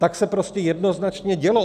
Tak se prostě jednoznačně dělo.